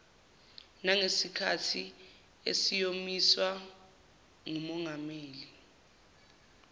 nangesikhathi esiyomiswa ngumongameli